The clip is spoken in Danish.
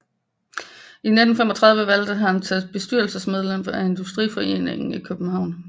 I 1935 valgtes han til bestyrelsesmedlem af Industriforeningen i København